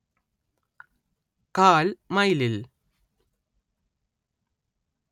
കാൽ മൈലിൽ